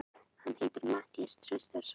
Hann heitir Matthías Traustason.